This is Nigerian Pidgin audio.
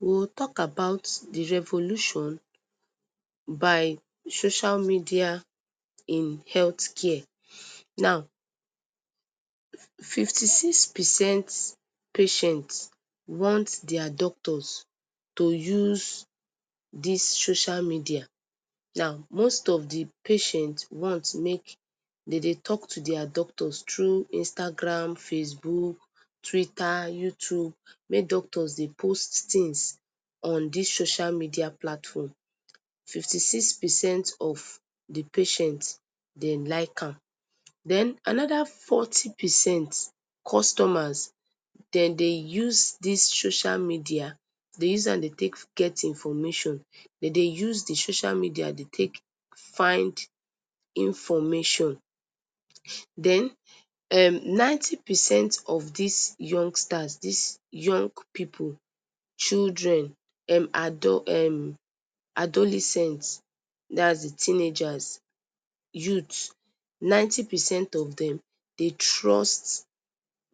We go talk about d revolution by social media in health care, now fifty six percent patient want their doctors to use dis social media, now most of d patient want make dem dey talk to their doctors thru Instagram, facebook, twitter, youtube, make doctors dey post things on dis social media platform fifty six percent of d patient dem like am, den anoda fourty percent customers dem dey use dis social media dem dey use am dey take get information, dem dey social media dey take find information, den ninety percent of dis youngsters dis young pipu, childream um adolescent dats d chilredn, youths ninety percent of dem dey trust